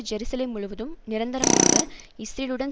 Jerusalem முழுவதும் நிரந்தரமாக இஸ்ரேலுடன்